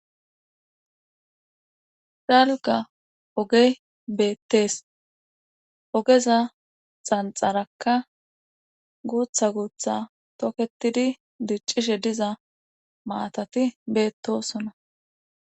Chalga oge beettees ogeza xanxarakka guutha guutha toketidi diccishe diza maatati beettosona